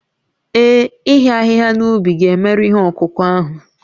Ee, ịhịa ahịhịa n'ubi ga-emerụ ihe ọkụkụ ahụ